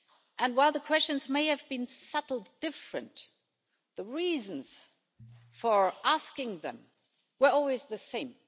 And while the questions may have been subtly different, the reason for asking them were always the same.